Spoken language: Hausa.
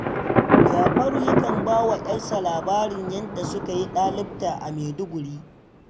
Jafaru yakan ba wa 'yarsa labarin yadda suka yi ɗalibta a Maiduguri